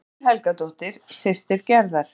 Unnur Helgadóttir, systir Gerðar.